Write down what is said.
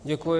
Děkuji.